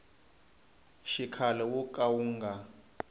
xikhale wo ka wu nga